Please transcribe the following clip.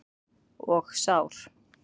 Og sár.